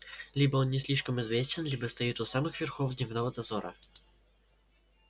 либо он не слишком известен либо стоит у самых верхов дневного дозора